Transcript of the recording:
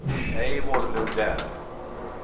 Eivor Lundell